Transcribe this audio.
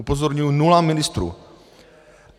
Upozorňuji - nula ministrů.